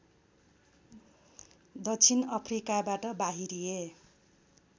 दक्षिण अफ्रिकाबाट बाहिरिए